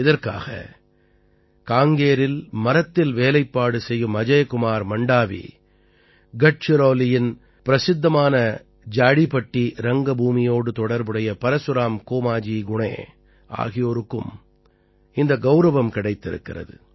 இதற்காக காங்கேரில் மரத்தில் வேலைப்பாடு செய்யும் அஜய் குமார் மண்டாவீ கட்சிரௌலீயின் பிரசித்தமான ஜாடீபட்டீ ரங்கபூமியோடு தொடர்புடைய பரசுராம் கோமாஜீ குணே ஆகியோருக்கும் இந்த கௌரவம் கிடைத்திருக்கிறது